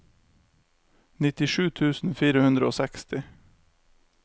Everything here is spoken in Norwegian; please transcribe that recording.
nittisju tusen fire hundre og seksti